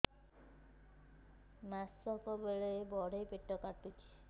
ମାସିକିଆ ବେଳେ ବଡେ ପେଟ କାଟୁଚି